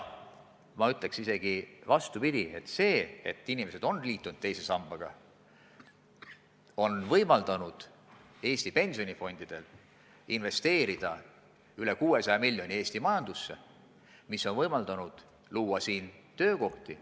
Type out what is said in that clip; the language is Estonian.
Ma ütleks isegi vastupidi: see, et inimesed on liitunud teise sambaga, on võimaldanud Eesti pensionifondidel investeerida üle 600 miljoni Eesti majandusse, mis on võimaldanud luua siin täiendavaid töökohti.